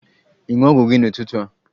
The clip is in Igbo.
Ị ṅụ ọgwụ gị n'ụtụtụ a?